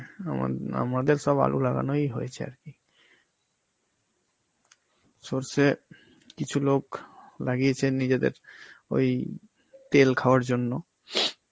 আমার~ আমাদের সব আলু লাগানোই হয়েছে আর কি. সরষে কিছু লোক লাগিয়েছে নিজেদের ওই তেল খাওয়ার জন্য,